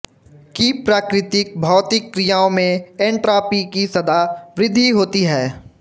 कि प्राकृतिक भौतिक क्रियाओं में एंट्रॉपी की सदा वृद्धि होती है